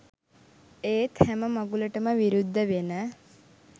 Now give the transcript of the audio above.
ඒත් හැම මඟුලටම විරුද්ධ වෙන